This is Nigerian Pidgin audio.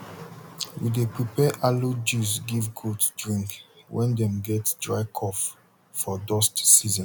we dey prepare aloe juice give goat drink when dem get dry cough for dust season